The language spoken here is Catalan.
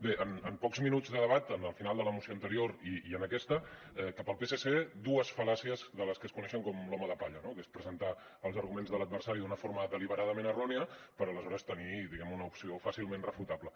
bé en pocs minuts de debat en el final de la moció anterior i en aquesta que per al psc dues fal·làcies de les que es coneixen com l’home de palla que és presentar els arguments de l’adversari d’una forma deliberadament errònia per aleshores tenir diguem ne una opció fàcilment refutable